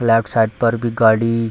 left side पर भी गाड़ी --